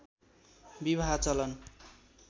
विवाह चलन